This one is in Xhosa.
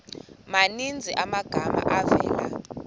maninzi amagama avela